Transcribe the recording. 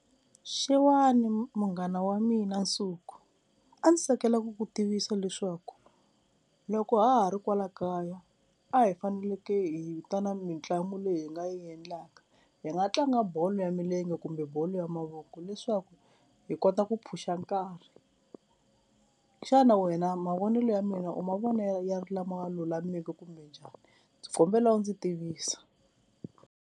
Xewani munghana wa mina Nsuku a ndzi tsakelaka ku ku tivisa leswaku loko ha ha ri kwala kaya a hi faneleke hi ta na mitlangu leyi hi nga yi endlaka, hi nga tlanga bolo ya milenge kumbe bolo ya mavoko leswaku hi kota ku phusha nkarhi, xana wena mavonelo ya mina u mavona ya ri lama lulameke kumbe njhani ndzi kombela u ndzi tivisa.